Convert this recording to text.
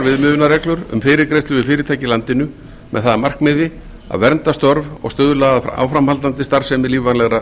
viðmiðunarreglur um fyrirgreiðslu við fyrirtæki í landinu með það að markmiði að vernda störf og stuðla að áframhaldandi starfsemi lífvænlegra